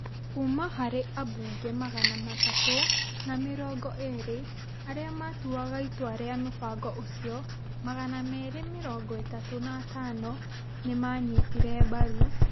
Kuuma harĩ ambunge magana matũ na mĩrongo erĩarĩa matuaga itua rĩa mũbango ũcio, magana merĩ mĩrongo ĩtatũ na atano nĩ maanyitire mbaru,